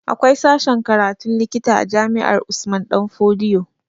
Akwai sashen karatun likita a jami'ar Usman danfodiyo